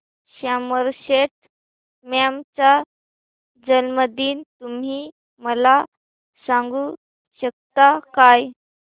Somerset Maugham चा जन्मदिन तुम्ही मला सांगू शकता काय